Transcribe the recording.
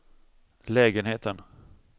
lägenheten